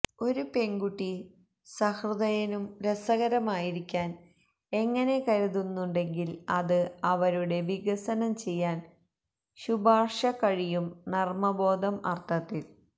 ഒരു പെൺകുട്ടി സഹൃദയനും രസകരമായിരിക്കാൻ എങ്ങനെ കരുതുന്നുണ്ടെങ്കിൽ അത് അവരുടെ വികസനം ചെയ്യാൻ ശുപാർശ കഴിയും നർമ്മബോധം അർത്ഥത്തിൽ